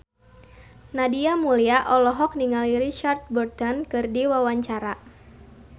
Nadia Mulya olohok ningali Richard Burton keur diwawancara